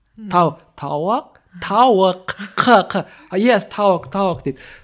тау тауык тауық қ қ ес тауық тауық дейді